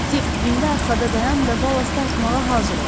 Dik, indi arxada dayan və ballast atmağa hazır ol.